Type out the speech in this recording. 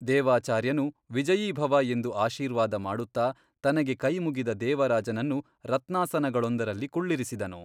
ದೇವಾಚಾರ್ಯನು ವಿಜಯೀಭವ ಎಂದು ಆಶೀರ್ವಾದ ಮಾಡುತ್ತಾ ತನಗೆ ಕೈಮುಗಿದ ದೇವರಾಜನನ್ನು ರತ್ನಾಸನಗಳೊಂದರಲ್ಲಿ ಕುಳ್ಳಿರಿಸಿದನು.